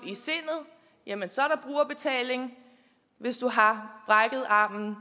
i og hvis du har brækket armen